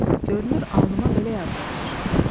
Yox, görünür alnıma belə yazılıbmış.